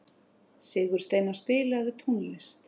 Sigursteina, spilaðu tónlist.